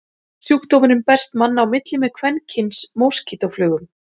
Sjúkdómurinn berst manna á milli með kvenkyns moskítóflugum.